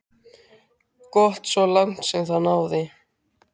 Gott svo langt sem það náði.